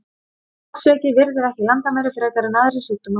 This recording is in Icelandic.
Holdsveiki virðir ekki landamæri frekar en aðrir sjúkdómar.